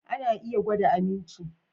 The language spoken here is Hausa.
Ana iya gwada aminci